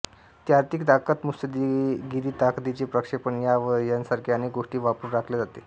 ती आर्थिक ताकद मुत्सद्देगिरीताकदीचे प्रक्षेपण या व यासारख्या अनेक गोष्टी वापरून राखल्या जाते